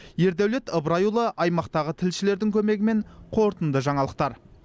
ердәулет ыбырайұлы аймақтағы тілшілердің көмегімен қорытынды жаңалықтар